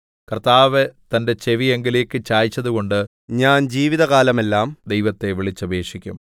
കർത്താവ് തന്റെ ചെവി എങ്കലേക്ക് ചായിച്ചതുകൊണ്ട് ഞാൻ ജീവിതകാലമെല്ലാം ദൈവത്തെ വിളിച്ചപേക്ഷിക്കും